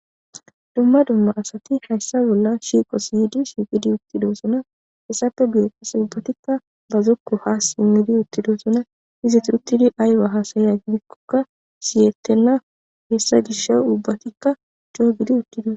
Duma duma asati hesa bollan shiqosi Yidi shiqidi utidosona hesappe guye asatika ba zoko ha simidi utidosona izatika ayiba hasayiko siyetena hesa gishawu ubatika co,o gidi utidosona